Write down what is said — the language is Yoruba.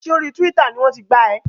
Ṣé orí Tíwítà ni wọ́n ti gbá ẹ?